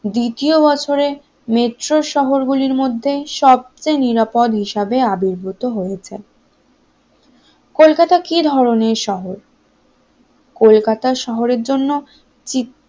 দ্বিতীয় বছরে মেট্রো শহর গুলির মধ্যে সবচেয়ে নিরাপদ হিসাবে আবির্ভূত হয়েছে কলকাতা কি ধরনের শহর? কলকাতা শহরের জন্য